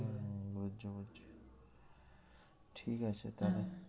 হম বুঝছি বুঝছি ঠিক আছে তাহলে